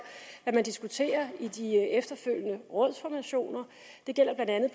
hvad man diskuterer i de efterfølgende rådsformationer det gælder blandt andet